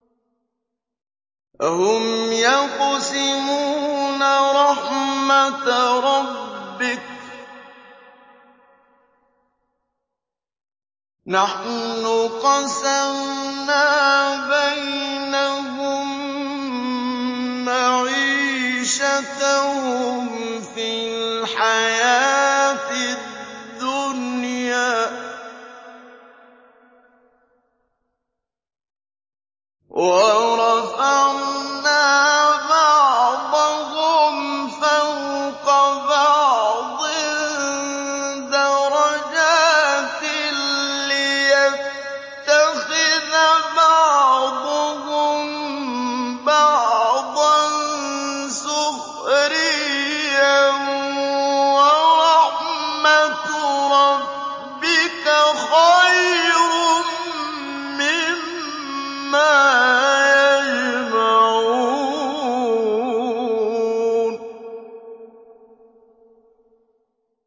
أَهُمْ يَقْسِمُونَ رَحْمَتَ رَبِّكَ ۚ نَحْنُ قَسَمْنَا بَيْنَهُم مَّعِيشَتَهُمْ فِي الْحَيَاةِ الدُّنْيَا ۚ وَرَفَعْنَا بَعْضَهُمْ فَوْقَ بَعْضٍ دَرَجَاتٍ لِّيَتَّخِذَ بَعْضُهُم بَعْضًا سُخْرِيًّا ۗ وَرَحْمَتُ رَبِّكَ خَيْرٌ مِّمَّا يَجْمَعُونَ